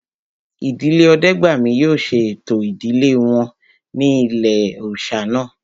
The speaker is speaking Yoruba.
Ìdílé Ọdẹ́gbàmí yóò ṣe ẹ̀tọ́ ìdílé wọn ní ilé-òòsà náà